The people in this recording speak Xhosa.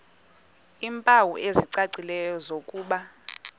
iimpawu ezicacileyo zokuba